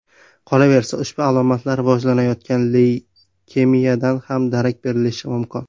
Qolaversa, ushbu alomatlar rivojlanayotgan leykemiyadan ham darak berishi mumkin.